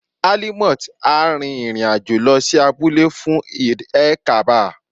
Alimot á rin ìrìn àjò lọ sí abúlé fún Eid-el-kabir.